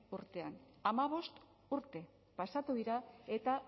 urtean hamabost urte pasatu dira eta